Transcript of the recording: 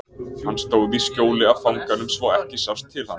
Hann stóð í skjóli af fanganum svo ekki sást til hans.